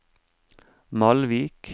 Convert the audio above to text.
Malvik